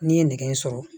N'i ye nɛgɛ in sɔrɔ